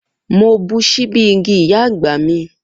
Mo bu ṣíbí igi iya agba mi.